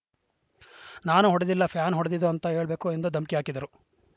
ನಾನು ಹೊಡೆದಿಲ್ಲ ಫ್ಯಾನ್ ಹೊಡೆದಿದ್ದು ಅಂತ ಹೇಳ್ಬೇಕು ಎಂದು ಧಮ್ಕಿ ಹಾಕಿದರು